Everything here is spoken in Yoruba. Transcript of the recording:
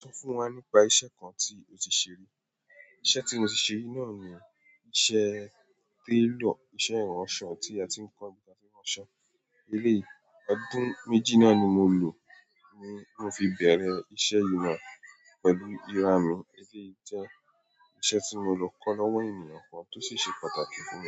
Sọ fún wa nípa iṣẹ́ kan tí o ti ṣe rí. Iṣẹ́ tí mo ti ṣe rí náà ni iṣẹ́ tailor, iṣẹ́ ìránṣọ tí a ti ń kọ́ bí a ṣe ń ránṣọ, eléyìí ọdún méjì náà ni mo lò ni, tí mo fi bẹ̀rẹ̀ iṣẹ́ yìí náà pẹ̀lú iranu, eléyìí jẹ́ iṣẹ́ tí mo lọ kọ́ lọ́wọ́ ènìyàn kan tí o sì ṣe pàtàkì fún mi.